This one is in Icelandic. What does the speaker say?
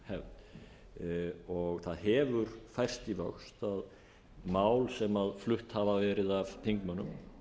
umræðuhefð það hefur færst í vöxt að mál sem flutt hafa verið af þingmönnum